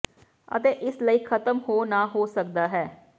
ਅਤੇ ਇਸ ਲਈ ਖ਼ਤਮ ਹੋ ਨਾ ਹੋ ਸਕਦਾ ਹੈ